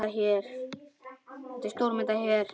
Þetta er stóra myndin hér.